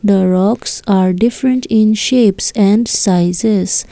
the rocks are different in shapes and sizes.